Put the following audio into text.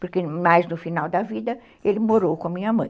porque mais no final da vida ele morou com a minha mãe.